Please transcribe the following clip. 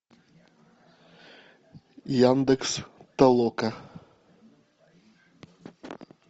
яндекс толока